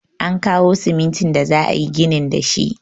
An kawo simintin da za'ayi ginin da shi.